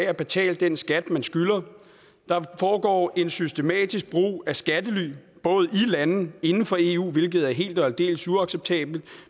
at betale den skat man skylder der foregår en systematisk brug af skattely både i lande inden for eu hvilket er helt og aldeles uacceptabelt